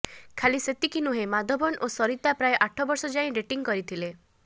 ଖାଲି ସେତିକି ନୁହେଁ ମାଧବନ୍ ଓ ସରିତା ପ୍ରାୟ ଆଠ ବର୍ଷ ଯାଏଁ ଡ଼େଟିଂ କରିଥିଲେ